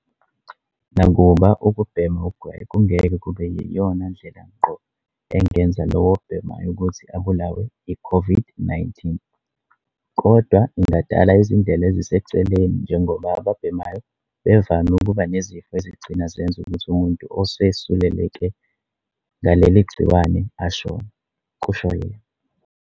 "Nakuba ukubhema ugwayi kungeke kube yiyona ndlela ngqo engenza lowo obhemayo ukuthi abulawe i-COVID-19, kodwa ingadala izindlela eziseceleni njengoba ababhemayo bevame ukuba nezifo ezigcina zenza ukuthi umuntu osesuleleke ngaleli gciwane ashone," kusho yena.